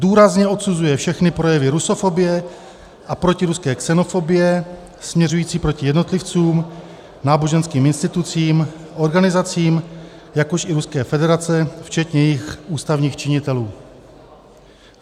důrazně odsuzuje všechny projevy rusofobie a protiruské xenofobie směřující proti jednotlivcům, náboženským institucím, organizacím, jakož i Ruské federaci včetně jejich ústavních činitelů;